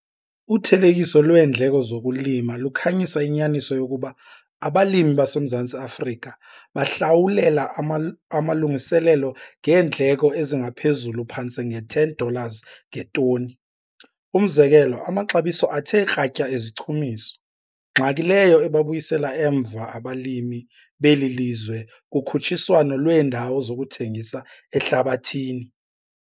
Uthelekiso lweendleko zokulima lukhanyisa inyaniso yokuba abalimi baseMzantsi Afrika bahlawulela amalungiselelo ngeendleko ezingaphezulu phantse nge-10 dollars ngetoni, umzekelo, amaxabiso athe kratya ezichumiso, ngxaki leyo ebabuyisela emva abalimi beli lizwe kukhutshiswano lweendawo zokuthengisa ehlabathini.